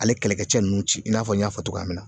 Ale kɛlɛkɛcɛ nunnu ci i n'a fɔ n y'a fɔ cogoya min na